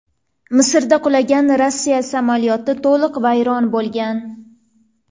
Misrda qulagan Rossiya samolyoti to‘liq vayron bo‘lgan.